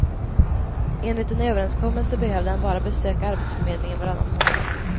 Enligt en överenskommelse behövde han bara besöka arbetsförmedlingen varannan månad.